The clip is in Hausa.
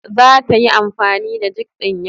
Zata yi amfani da jig din yau.